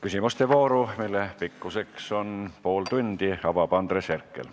Küsimuste vooru, mille pikkus on pool tundi, avab Andres Herkel.